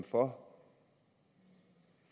for